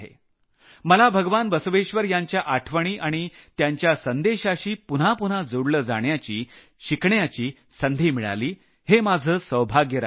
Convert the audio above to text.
मला भगवान बसवेश्वर यांच्या आठवणी आणि त्यांच्या संदेशाशी जोडलं जाण्याची शिकण्याची संधी मिळाली हे माझं सौभाग्य राहिलं आहे